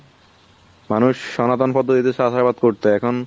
মানুষ সনাতন পদ্ধতিতে চাষাবাদ করতো এখন